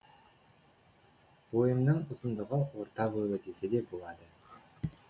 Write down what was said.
бойымның ұзындығы орта бойлы десе де болады